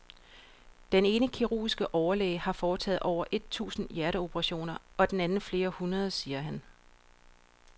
Den ene kirurgiske overlæge har foretaget over et tusind hjerteoperationer og den anden flere hundrede, siger han.